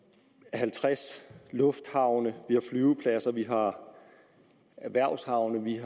halvtreds lufthavne og flyvepladser vi har erhvervshavne vi